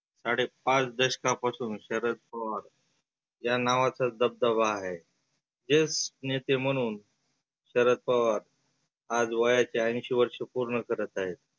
साडे पाच दशका पासुन शरद पवार या नावाचा दबदबा आहे. जेष्ठ नेते म्हणून शरद पवार आज वयाच्या ऐंशी वर्ष पुर्ण करत आहेत.